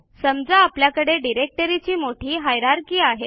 समजा आपल्याकडे डिरेक्टरीची मोठी हायरार्की आहे